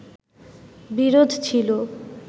বিরোধ ছিল